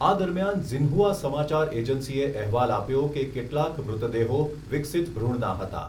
આ દરમિયાન ઝિન્હુઆ સમાચાર એજન્સીએ અહેવાલ આપ્યો કે કેટલાક મૃતદેહો વિકસિત ભ્રૂણના હતા.